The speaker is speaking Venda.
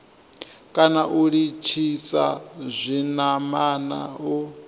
kana u litshisa zwinamana u